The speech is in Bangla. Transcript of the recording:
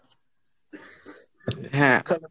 হ্যাঁ তো,